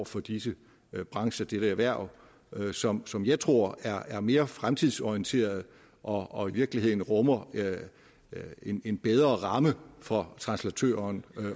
for disse brancher dette erhverv som som jeg tror er er mere fremtidsorienteret og og i virkeligheden rummer en bedre ramme fra translatørerne